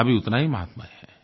उसका भी उतना ही महत्व है